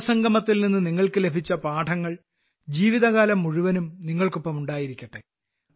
യുവസംഗമത്തിൽനിന്നു നിങ്ങൾക്കു ലഭിച്ച പാഠങ്ങൾ ജീവിതകാലം മുഴുവനും നിങ്ങൾക്കൊപ്പം ഉണ്ടായിരിക്കട്ടെ